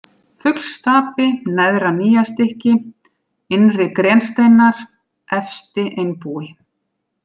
Fuglsstapi, Neðra-Nýjastykki, Innri-Grensteinar, Efsti-Einbúi